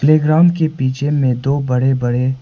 background के पीछे में दो बड़े बड़े--